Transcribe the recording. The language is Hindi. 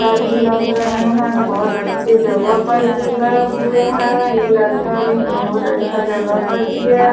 लग रहे हैं बहुत अच्छी जगह पर भी गए हुए हैं ये लड़का नहीं बहुत अच्छा जगह पर भी है।